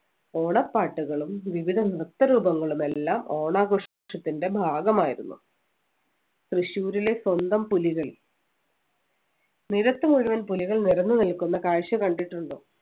ഓണപ്പാട്ടുകളും വിവിധ നൃത്തം രൂപങ്ങളും എല്ലാം ഓണാഘോഷത്തിൻ്റെ ഭാഗമായിരുന്നു തൃശ്ശൂരിലെ സ്വന്തം പുലികൾ നിരത്ത് മുഴുവൻ പുലികൾ നിരന്നു നിൽക്കുന്ന കാഴ്ച കണ്ടിട്ടുണ്ടോ